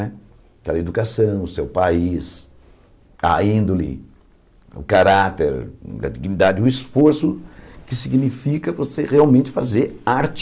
Né da educação, do seu país, a índole, o caráter, a dignidade, o esforço que significa você realmente fazer arte.